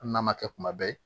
Hali n'a ma kɛ kuma bɛɛ ye